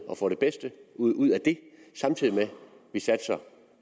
og får det bedste ud ud af det samtidig med at vi satser